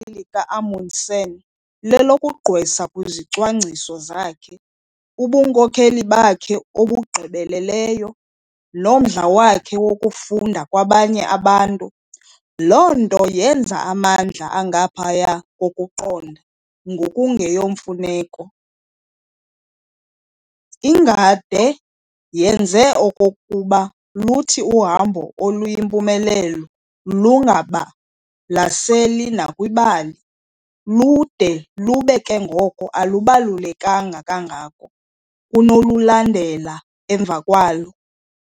likaAmundsen lelokugqwesa kwizicwangciso zakhe, ubunkokheli balkhe obugqibeleleyo, nomdla wakhe wokufunda kwabanye abantu- loo nto yenza amandla angaphaya kokuqonda ngokungeyomfuneko, ingade yenze okokuba luthi uhambo oluyimpumelelo lungabalaseli nakwibali, lude lube ke ngoko alubalulekanga kangako, kunolulandela emva kwalo.